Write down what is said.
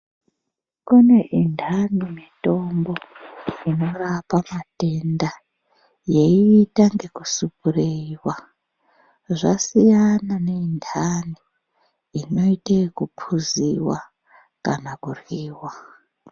Kune indani mitombo inorapa matenda yeita ngeku superiyiwa zvasiyana ne indani inoite yeku puziwa kana kuryiwa.